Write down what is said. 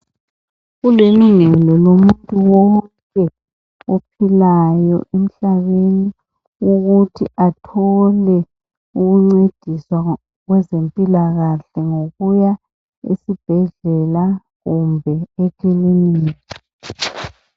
Kulilungelo lomuntu wonke ophilayo emhlabeni ukuthi athole ukuncediswa kwezempilakahle ngokuya esibhedlela kumbe ekilinika